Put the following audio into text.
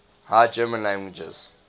high german languages